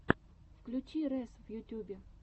включи рэс в ютюбе